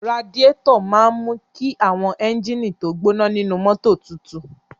Radíátọ̀ máa mú kí àwọn ẹ́gíínìì tó gbọ́ná nínú mọ́tò tutù.